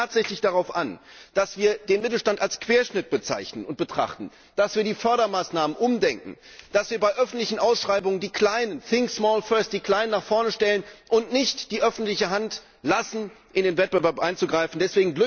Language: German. Es kommt jetzt tatsächlich darauf an, dass wir den Mittelstand als Querschnitt bezeichnen und betrachten, dass wir die Fördermaßnahmen umdenken, dass wir bei öffentlichen Ausschreibungen die Kleinen nach vorne rücken und nicht die öffentliche Hand in den Wettbewerb eingreifen lassen.